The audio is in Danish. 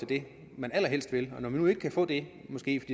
det man allerhelst vil og når man nu ikke kan få det måske